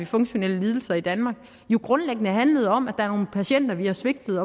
funktionelle lidelser i danmark jo grundlæggende handlede om at der er nogle patienter vi har svigtet